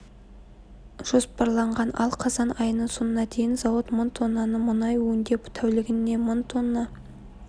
жоспарланған ал қазан айының соңына дейін зауыт мың тонны мұнай өңдеп тәулігіне мың тонна